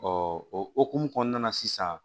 o hokumu kɔnɔna na sisan